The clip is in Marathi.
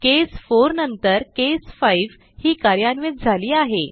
केस 4 नंतर केस 5 ही कार्यान्वित झाली आहे